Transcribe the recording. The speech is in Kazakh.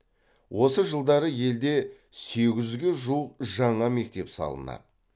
осы жылдары елде сегіз жүзге жуық жаңа мектеп салынады